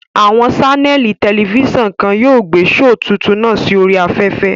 Àwọn ṣánẹ̀lì tẹlifísàn kan yóò gbé shoò tuntun náà sí oríi afẹ́fẹ́